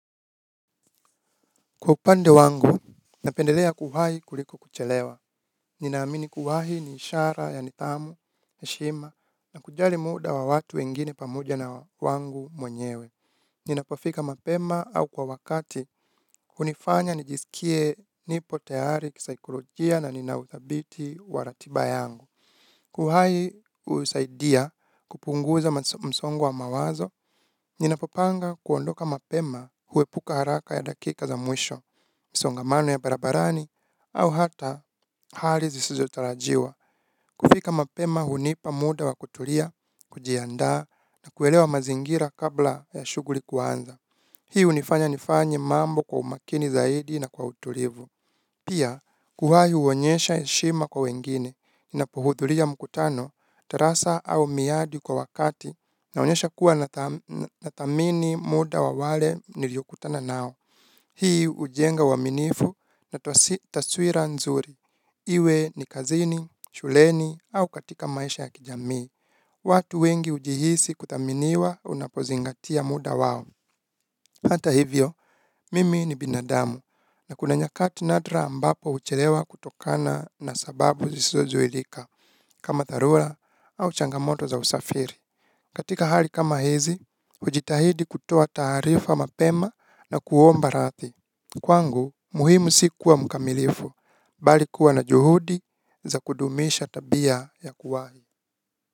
Kwa upande wangu, napendelea kuhahi kuliko kuchelewa. Ninaamini kuhahi ni ishara ya nidhamu heshima na kujali muda wa watu wengine pamoja na wangu mwenyewe. Ninapofika mapema au kwa wakati hunifanya nijisikie nipo tayari kisaikolojia na nina uthabiti wa ratiba yangu. Kuhahi husaidia kupunguza msongo wa mawazo, ninapopanga kuondoka mapema huepuka haraka ya dakika za mwisho. Misongamano ya barabarani au hata hali zisizotarajiwa kufika mapema hunipa muda wa kutulia, kujiandaa na kuelewa mazingira kabla ya shuguri kuanza. Hii hunifanya nifanye mambo kwa umakini zaidi na kwa utulivu. Pia, kuhahi huonyesha heshima kwa wengine ninapohudhulia mkutano, tarasa au miadi kwa wakati naonyesha kuwa nathamini muda wa wale niliokutana nao. Hii ujenga uaminifu na taswira nzuri, iwe ni kazini, shuleni au katika maisha ya kijamii, watu wengi ujihisi kuthaminiwa unapozingatia muda wao. Hata hivyo, mimi ni binadamu, na kuna nyakati nadra ambapo huchelewa kutokana na sababu zisizozuilika, kama dharula au changamoto za usafiri. Katika hali kama hizi, hujitahidi kutoa taarifa mapema na kuomba rathi. Kwangu, muhimu si kuwa mkamilifu, bali kuwa na juhudi za kudumisha tabia ya kuwahi.